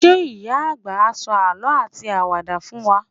Ṣé ìyá-àgbà á sọ àlọ́ àti àwàdà fún wa?